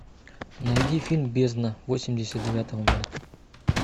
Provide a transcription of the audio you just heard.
найди фильм бездна восемьдесят девятого года